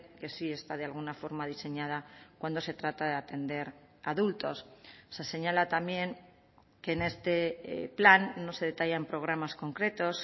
que sí está de alguna forma diseñada cuando se trata de atender a adultos se señala también que en este plan no se detallan programas concretos